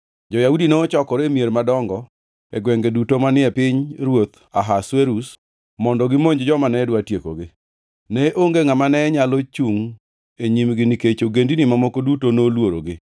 Jo-Yahudi nochokore e mier madongo e gwenge duto manie pinyruoth Ahasuerus mondo gimonj joma ne dwa tiekogi. Ne onge ngʼama ne nyalo chungʼ e nyimgi nikech ogendini mamoko duto noluorogi.